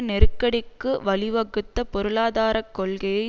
நெருக்கடிக்கு வழிவகுத்த பொருளாதார கொள்ளையை